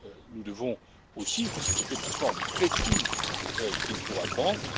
Nous devons aussi discuter de la forme précise qu'il pourra prendre.